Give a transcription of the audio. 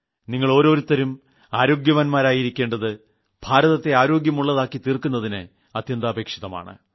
നിങ്ങൾ ഓരോരുത്തരും ആരോഗ്യവാൻമാരായിരിക്കേണ്ടത് ഭാരതത്തെ ആരോഗ്യമുളളതാക്കി തീർക്കുതിന് അത്യന്താപേക്ഷിതമാണ്